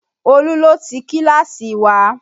Olú ló ti Kíláàsì wa